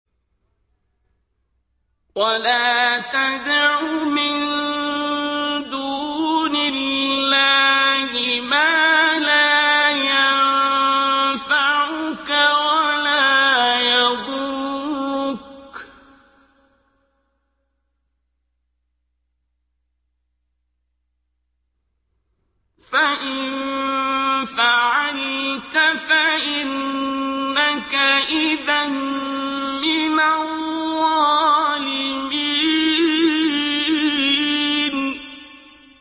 وَلَا تَدْعُ مِن دُونِ اللَّهِ مَا لَا يَنفَعُكَ وَلَا يَضُرُّكَ ۖ فَإِن فَعَلْتَ فَإِنَّكَ إِذًا مِّنَ الظَّالِمِينَ